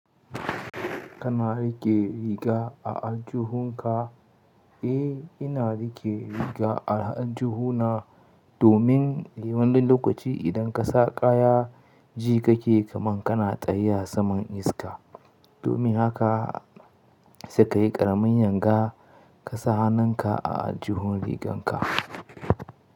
Kana riƙe riga a aljihunka? Eh, ina riƙe riga a aljihuna domin ɗin wani lokaci idan ka sa kaya jikake kaman kana tsaya saman iska. Domin haka sai ka yi ƙaramin yanga ka sa hannunka a aljihun riganka.